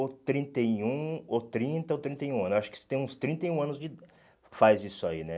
ou trinta e um, ou trinta, ou trinta e um anos, acho que tem uns trinta e um anos de faz isso aí, né?